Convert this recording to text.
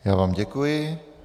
Já vám děkuji.